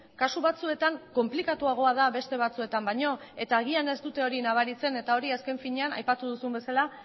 kasu batzuetan konplikatuagoa da beste batzuetan baino eta agian ez dute hori nabaritzen eta hori azken finean aipatu duzun bezala